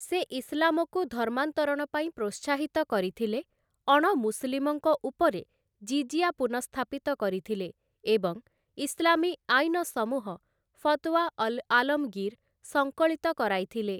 ସେ ଇସଲାମକୁ ଧର୍ମାନ୍ତରଣ ପାଇଁ ପ୍ରୋତ୍ସାହିତ କରିଥିଲେ, ଅଣମୁସଲିମଙ୍କ ଉପରେ ଜିଜିଆ ପୁନଃସ୍ଥାପିତ କରିଥିଲେ ଏବଂ ଇସଲାମୀ ଆଇନସମୂହ, 'ଫତୱା ଅଲ-ଆଲମଗୀର' ସଂକଳିତ କରାଇଥିଲେ ।